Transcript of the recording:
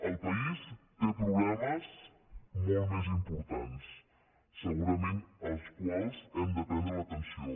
el país té problemes molt més importants segurament en els quals hem de posar l’atenció